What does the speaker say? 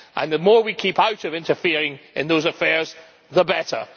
The more we keep out of interfering in those affairs, the better.